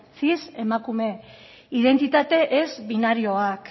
cisemakume identitate ez binarioak